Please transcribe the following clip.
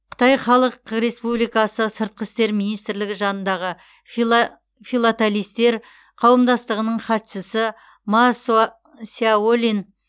қытай халық республикасы сыртқы істер министрлігі жанындағы филателистер қауымдастығының хатшысы масо сяолинь